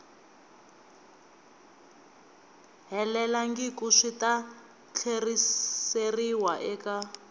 helelangiku swi ta tlheriseriwa eka